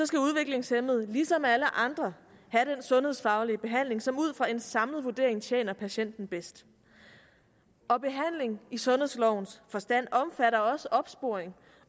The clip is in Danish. skal udviklingshæmmede ligesom alle andre have den sundhedsfaglige behandling som ud fra en samlet vurdering tjener patienten bedst og behandling i sundhedslovens forstand omfatter også opsporing